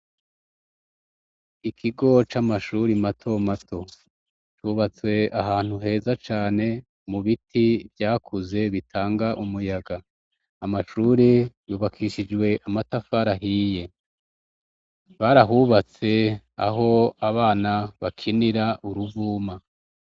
Ikigo c'amashuri mato mato cubatswe ahantu heza cane ,mu biti vyakuze bitanga umuyaga, amashuri yubakishijwe amatafara hiye, barahubatse aho abana bakinira uruvuma.